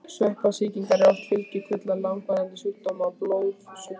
Sveppasýkingar eru oft fylgikvillar langvarandi sjúkdóma og blóðsjúkdóma.